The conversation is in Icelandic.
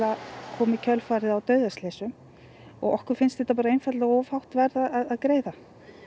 kom í kjölfarið á dauðaslysum og okkur finnst þetta einfaldlega of hátt verð að greiða